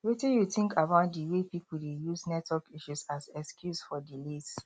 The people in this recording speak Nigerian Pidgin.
wetin you think about di way people dey use network issues as excuse for delays